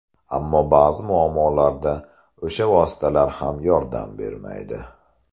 Ammo ba’zi muammolarda o‘sha vositalar ham yordam bermaydi.